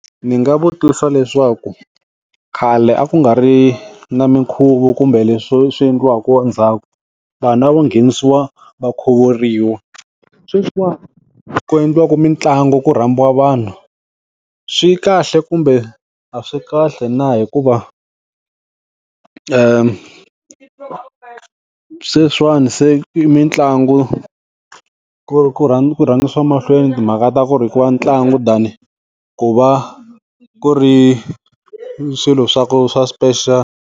Ndzi nga vutisa leswaku khale a ku nga ri na minkhuvo kumbe leswi swi endliwaka ndzhaku. Vanhu a vo nghenisiwa va khuvuriwa. Sweswiwa, endliwaka mitlangu ku rhambiwa vanhu, swi kahle kumbe a swi kahle na? Hikuva sweswiwani se i mitlangu ku ku rhangisiwa emahlweni timhaka ta ku ri ku va ntlangu than ku va ku ri swilo swa ku swa .